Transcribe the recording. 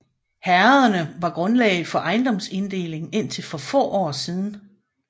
Herrederne var grundlag for ejendomsinddelingen indtil for få år siden